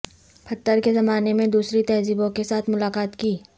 پتھر کے زمانے میں دوسری تہذیبوں کے ساتھ ملاقات کی